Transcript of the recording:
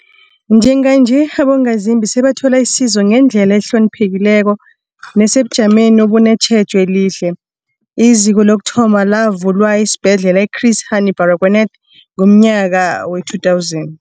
Njenganje, abongazimbi sebathola isizo ngendlela ehloniphekileko nesebujameni obunetjhejo elihle. IZiko lokuthoma lavulwa esiBhedlela i-Chris Hani Barag wanath ngomnyaka we-2000.